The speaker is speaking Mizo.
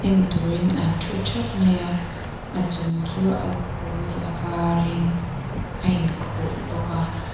an thu thap mai a a chung chu a pawl leh a varin a inkhuh bawk a.